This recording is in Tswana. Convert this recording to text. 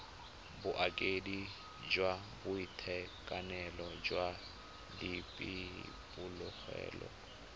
bokaedi jwa boitekanelo jwa diphologolo